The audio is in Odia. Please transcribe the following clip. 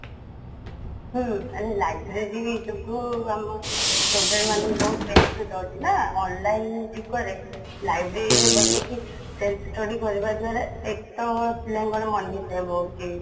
ହୁଁ library ଯୋଗୁଁ ଆମ student ମାନଙ୍କୁ ବହୁତ benefit ହଉଛି ନା online ଯୁଗରେ library ରେ ବସିକି self study କରିବା ଦ୍ୱାରା ଏକ ତ ପିଲାଙ୍କର money save ହଉଛି